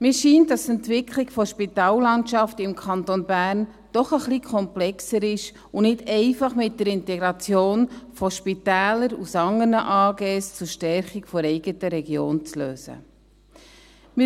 Mir scheint, dass die Entwicklung der Spitallandschaft im Kanton Bern doch ein wenig komplexer ist und nicht einfach mit der Integration von Spitälern aus anderen AG zur Stärkung der eigenen Region zu lösen ist.